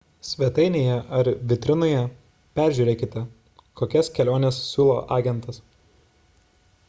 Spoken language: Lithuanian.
svetainėje ar vitrinoje peržiūrėkite kokias keliones siūlo agentas